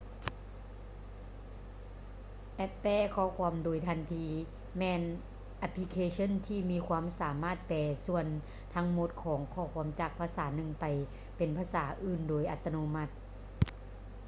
ແອັບແປຂໍ້ຄວາມໂດຍທັນທີ ແມ່ນແອັບພລິເຄຊັນທີ່ມີຄວາມສາມາດແປສ່ວນທັງໝົດຂອງຂໍ້ຄວາມຈາກພາສາໜຶ່ງໄປເປັນພາສາອື່ນໂດຍອັດຕະໂນມັດ